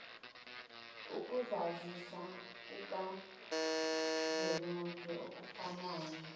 ukuzazisa kukazwelonke okunayo